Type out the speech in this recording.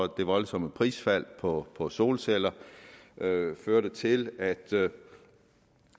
det voldsomme prisfald på på solceller førte til at